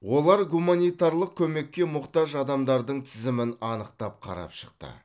олар гуманитарлық көмекке мұқтаж адамдардың тізімін анықтап қарап шықты